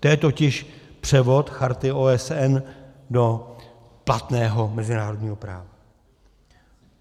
To je totiž převod Charty OSN do platného mezinárodního práva.